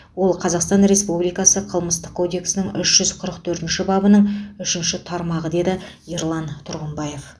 ол қазақстан республикасы қылмыстық кодексінің үш жүз қырық төртінші бабының үшінші тармағы деді ерлан тұрғымбаев